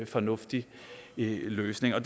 fornuftig løsning når